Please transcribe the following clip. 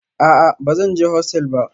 A'a ba zan je hostel ba